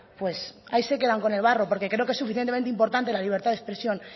pues ahí se quedan con el barro porque creo que es suficientemente importante la libertad de expresión